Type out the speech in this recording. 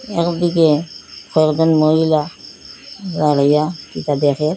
একদিকে কয়েকজন মহিলা দাঁড়াইয়া কিটা দেখে।